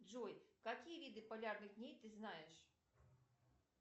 джой какие виды полярных дней ты знаешь